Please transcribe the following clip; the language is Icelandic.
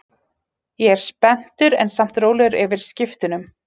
Eins og önnur prótein, samanstendur gelatín af amínósýrum.